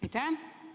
Aitäh!